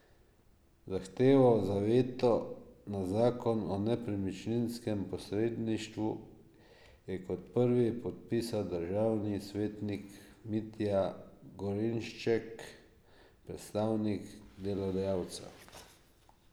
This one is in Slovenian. Zahtevo za veto na zakon o nepremičninskem posredništvu je kot prvi podpisal državni svetnik Mitja Gorenšček, predstavnik delodajalcev.